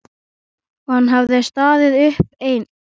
Og hann hafði staðið uppi einn.